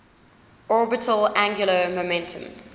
orbital angular momentum